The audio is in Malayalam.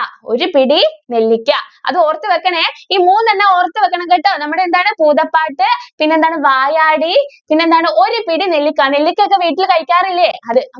ഒരു പിടി നെല്ലിക്ക അത് ഓർത്തു വെക്കണേ ഈ മൂന്നെണ്ണം ഓർത്തു വെക്കണം കേട്ടോ നമ്മുടെ എന്താണ് ഭൂതപാട്ട് പിന്നെ എന്താണ് വായാടി പിന്നെ എന്താണ് ഒരു പിടി നെല്ലിക്ക നെല്ലിക്ക ഒക്കെ വീട്ടിൽ കഴിക്കാറില്ലേ അത്.